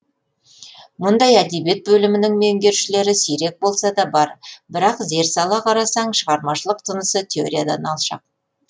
мұндай әдебиет бөлімінің меңгерушілері сирек болса да бар бірақ зер сала қарасаң шығармашылық тынысы теориядан алшақ